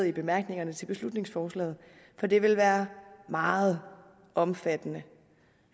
i bemærkningerne til beslutningsforslaget for det vil være meget omfattende